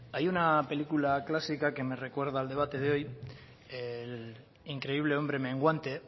hay una película clásica que me recuerda el debate de hoy el increíble hombre menguante